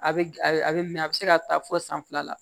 A bɛ a bɛ mɛn a bɛ se ka taa fɔ san fila la